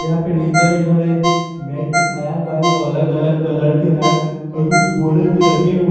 यहां पे नीचे में इन्होंने मैट बीछाया हुआ है जो अलग अलग कलर के है और कुछ बोड़े भी रखे हुए।